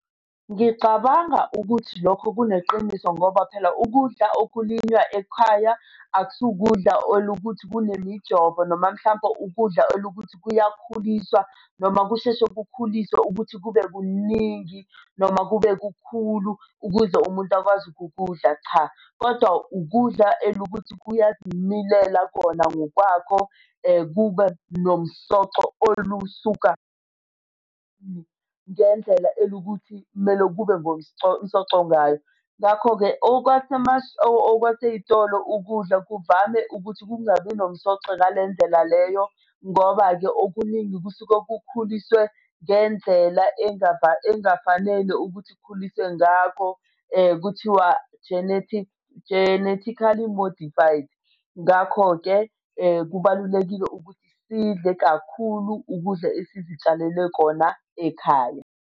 Ngicabanga ukuthi lokho kuneqiniso ngoba phela ukudla okulinywa ekhaya akusukudlala olukuthi kune mijovo noma mhlampe ukudla olukuthi kuyakhuliswa, noma kusheshe kukhuliswe ukuthi kube kuningi noma kube kukhulu ukuze umuntu akwazi ukukudla, cha. Kodwa ukudla elukuthi kuyazimilela khona ngokwakho kube nomsoco olusuka ngendlela elukuthi kumele kube msocongayo. Ngakho-ke okwasey'tolo ukudla kuvame ukuthi kungabi nomsoco ngale ndlela leyo ngoba-ke okuningi kusuke kukhuliswe ngendlela engafanele ukuthi khuliswe ngakho kuthiwa genetic, genetically modified. Ngakho-ke kubalulekile ukuthi sidle kakhulu ukudla esizitshalele kona ekhaya.